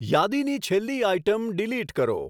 યાદીની છેલ્લી item delete કરો